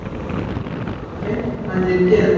Ég hef reynt hvað ég get.